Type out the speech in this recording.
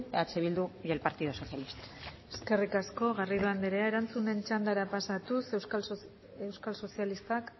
eh bildu y el partido socialista eskerrik asko garrido andrea erantzunen txandara pasatuz euskal sozialistak